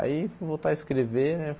Aí fui voltar a escrever, né?